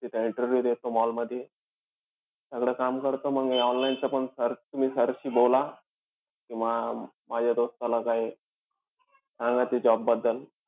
तिथं interview देतो mall मध्ये. सगळं काम करतो म मी. Online च पण तुम्ही स अं sir शी बोला की बा, माझ्या दोस्ताला काई सांगा त्या job बद्दल.